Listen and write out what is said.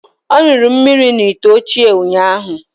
Ọ ṅụrụ mmiri n’ite ochie ụnyahụ